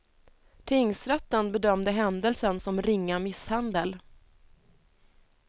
Tingsrätten bedömde händelsen som ringa misshandel.